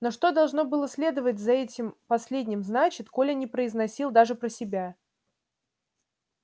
но что должно было следовать за этим последним значит коля не произносил даже про себя